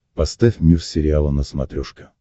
поставь мир сериала на смотрешке